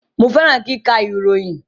Mo fẹràn kíkà ìròyìn